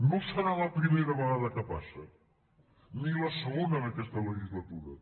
no serà la primera vegada que passa ni la segona en aquesta legislatura